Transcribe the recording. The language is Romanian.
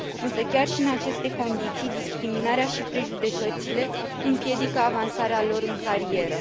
Însă, chiar și în aceste condiții, discriminarea și prejudecățile împiedică avansarea lor în carieră.